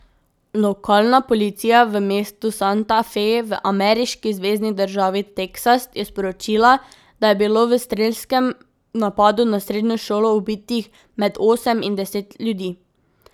Lokalna policija v mestu Santa Fe v ameriški zvezni državi Teksas je sporočila, da je bilo v strelskem napadu na srednjo šolo ubitih med osem in deset ljudi.